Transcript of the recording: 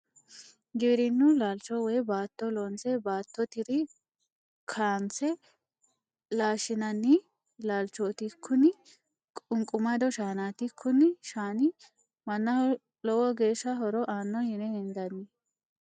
Giwirinu laalicho woyi baatto loonse baattottr kaa'nse laashinanni laalichoti, kuni qu'nqumado shaanati, kuni shaani manaho lowo geesha horo aano yine hendanni